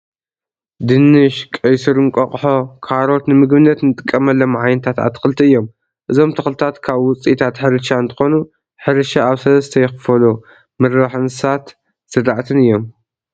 ድንሽ ፣ቀይሕ ሱር እንቋቀቆሖ ፣ካሮት ንምግብነት እንጥቀመሎም ዓይነታት ኣትክልቲ እዮም። እዞም ተክልታት ካብ ውፅኢታት ሕርሻ እትኮኑ ሕርሻ ኣብ 3ተ ይክፈሉ ምርባሕ እንስሳት፣ ዝራእትን እዮም።